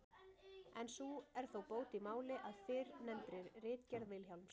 en sú er þó bót í máli, að í fyrrnefndri ritgerð Vilhjálms